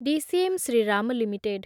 DCM Shriram limited